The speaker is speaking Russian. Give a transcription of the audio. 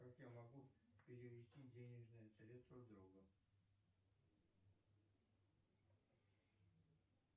как я могу перевести денежные средства другу